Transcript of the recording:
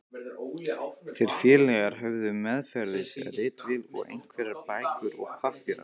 Þeir félagar höfðu meðferðis ritvél og einhverjar bækur og pappíra.